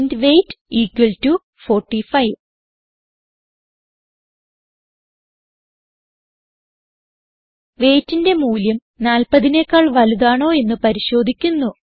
int weight equal to 45 weightന്റെ മൂല്യം 40നെക്കാൾ വലുതാണോ എന്ന് പരിശോധിക്കുന്നു